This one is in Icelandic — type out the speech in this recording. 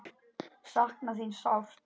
Sakna þín sárt.